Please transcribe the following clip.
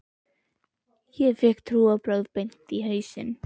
Ég fékk trúarbrögð beint í hausinn.